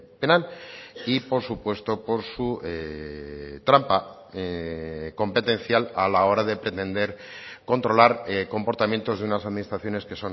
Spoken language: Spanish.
penal y por supuesto por su trampa competencial a la hora de pretender controlar comportamientos de unas administraciones que